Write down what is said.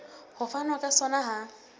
ho fanwa ka sona ha